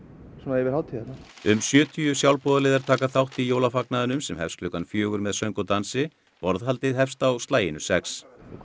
yfir hátíðirnar um sjötíu sjálfboðaliðar taka þátt jólafagnaðinum sem hefst klukkan fjögur með söng og dansi borðhaldið hefst á slaginu sex hvað